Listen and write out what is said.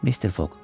Mr. Fogq.